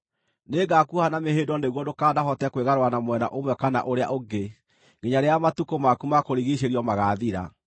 Nĩngakuoha na mĩhĩndo nĩguo ndũkanahote kwĩgarũra na mwena ũmwe kana ũrĩa ũngĩ nginya rĩrĩa matukũ maku ma kũrigiicĩrio magaathira.